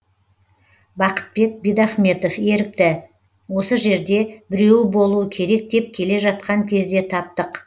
бақытбек бидахметов ерікті осы жерде біреуі болуы керек деп келе жатқан кезде таптық